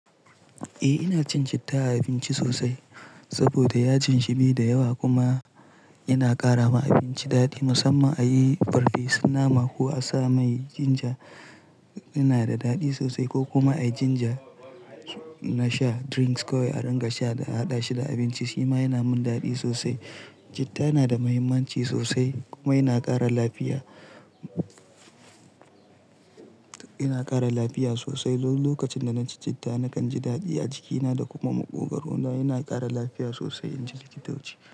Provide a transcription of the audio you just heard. Eh ina cin citta a abinci sosai saboda yaji shi bai da yawa kuma yana ƙara ma abinci daɗi. Musamman a yi farfesun nama ko a sa mai ginger yana da daɗi sosai ko kuma a yi ginger na sha drinks kawai a ringa sha da a haɗa shi da abinci, shi ma yana min daɗi sosai. Citta nada mahimmanci sosai kuma yana ƙara lafiya, yana ƙara lafiya sosai. Lokacin da na ci citta nakan ji daɗi a jikina da kuma maƙogaro na yana ƙara lafiya sosai inji likitoci.